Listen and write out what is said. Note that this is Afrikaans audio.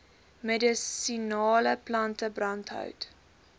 medisinale plante brandhout